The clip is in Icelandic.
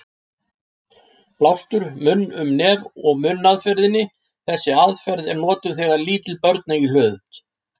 Blástur munn-um-nef-og-munn aðferðinni: Þessi aðferð er notuð þegar lítil börn eiga í hlut.